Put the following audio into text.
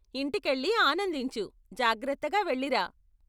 ఇంటికెళ్ళి ఆనందించు, జాగ్రత్తగా వెళ్లిరా.